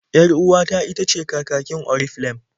Yar-uwata itace kakakin Oriflem.